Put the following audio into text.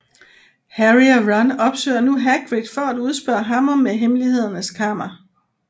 Harry og Ron opsøger nu Hagrid for at udspørge ham om Hemmelighedernes Kammer